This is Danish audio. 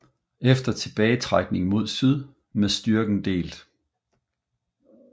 Efter tilbagetrækning mod syd med styrken delt